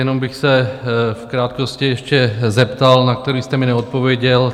Jenom bych se v krátkosti ještě zeptal, na který jste mi neodpověděl.